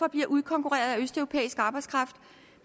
bliver udkonkurreret af østeuropæisk arbejdskraft